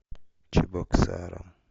чебоксарам